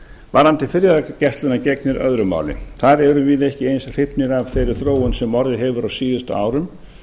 varðandi friðargæsluna gegnir öðru máli þar erum við ekki eins hrifnir af þeirri þróun sem orðið hefur á síðustu árum